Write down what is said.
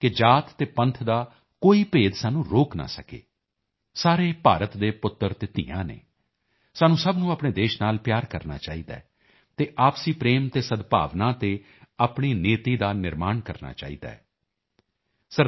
ਕਿ ਜਾਤ ਅਤੇ ਪੰਥ ਦਾ ਕੋਈ ਭੇਦ ਸਾਨੂੰ ਰੋਕ ਨਾ ਸਕੇ ਸਾਰੇ ਭਾਰਤ ਦੇ ਪੁੱਤਰ ਤੇ ਧੀਆਂ ਨੇ ਸਾਨੂੰ ਸਭ ਨੂੰ ਆਪਣੇ ਦੇਸ਼ ਨਾਲ ਪਿਆਰ ਕਰਨਾ ਚਾਹੀਦਾ ਹੈ ਅਤੇ ਆਪਸੀ ਪ੍ਰੇਮ ਅਤੇ ਸਦਭਾਵਨਾ ਤੇ ਆਪਣੀ ਨਿਯਤੀ ਦਾ ਨਿਰਮਾਣ ਕਰਨਾ ਚਾਹੀਦਾ ਹੈ